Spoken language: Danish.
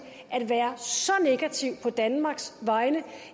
at være så negativ på danmarks vegne